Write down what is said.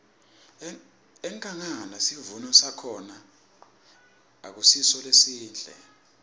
enkhangala sivuno sakhona akusiso lesihle